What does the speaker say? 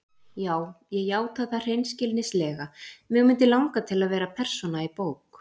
Já ég játa það hreinskilnislega: mig mundi langa til að vera persóna í bók.